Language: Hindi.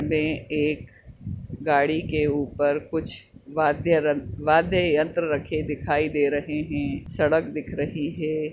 बे एक गाडी के ऊपर कुछ वाध्य वाध्य यन्त्र रखे दिखाई दे रहे है सड़क दिख रही है।